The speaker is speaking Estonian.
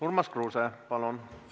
Urmas Kruuse, palun!